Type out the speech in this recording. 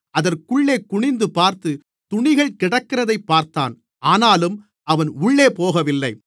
அதற்குள்ளே குனிந்து பார்த்து துணிகள் கிடக்கிறதைப் பார்த்தான் ஆனாலும் அவன் உள்ளே போகவில்லை